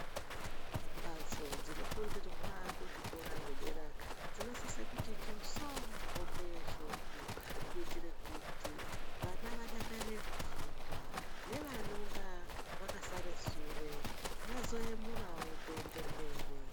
Mbatso dzinofundirwa kuzvikora zvedera dzinosise kuti njoso hope yeshoko kuitire kuti vana vadakarire kufunda nevanonga vakasara sure vazoyemurawo kuende mberi.